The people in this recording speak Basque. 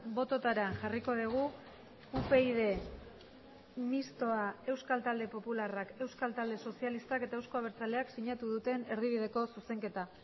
bototara jarriko dugu upyd mistoa euskal talde popularrak euskal talde sozialistak eta euzko abertzaleak sinatu duten erdibideko zuzenketa